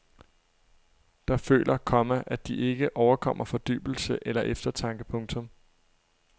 Der føler, komma at de ikke overkommer fordybelse eller eftertanke. punktum